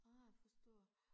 Ah forstår